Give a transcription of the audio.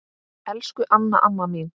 Elsku Anna amma mín.